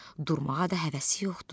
Durmağa da həvəsi yoxdu.